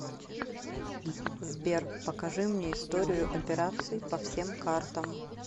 сбер покажи мне историю операций по всем картам